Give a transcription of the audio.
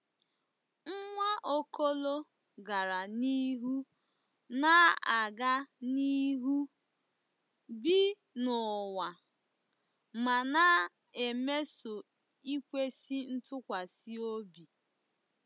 Nwaokolo gara n'ihu na-aga n'ihu, "bi n'ụwa," ma na-emeso ikwesị ntụkwasị obi."